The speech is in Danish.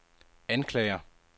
anklager